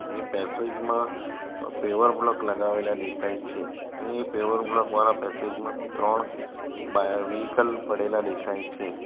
એ passage માં paver block લગાવેલા દેખાય છે અને એ પેવર બ્લોક વાળા પેસેજ માં ત્રણ બાયો વિકલ પડેલા દેખાય છે.